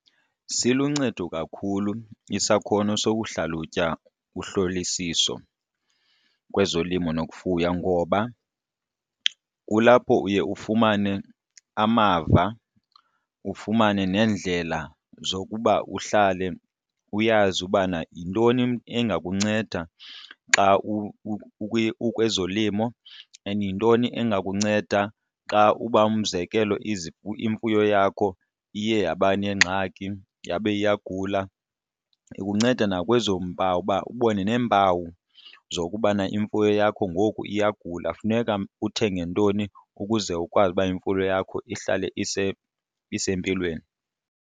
Siluncedo kakhulu isakhono sokuhlalutya uhlolisiso kwezolimo nokufuya ngoba kulapho uye ufumane amava, ufumane neendlela zokuba uhlale uyazi ubana yintoni kuba engakunceda xa ukwezolimo and yintoni engakunceda xa uba umzekelo imfuyo yakho iye yaba neengxaki yabe iyagula. Ikunceda nakwezo mpawu uba ubone neempawu zokubana imfuyo yakho ngoku iyagula funeka uthenge ntoni ukuze ukwazi uba imfuyo yakho ihlale isempilweni.